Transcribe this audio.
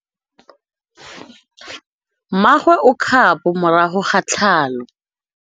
Mmagwe o kgapô morago ga tlhalô.